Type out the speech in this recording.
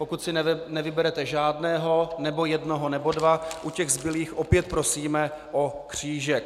Pokud si nevyberete žádného, nebo jednoho, nebo dva, u těch zbylých opět prosíme o křížek.